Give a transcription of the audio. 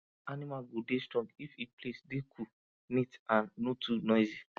animal go dey strong if e place dey cool neat and no too noisy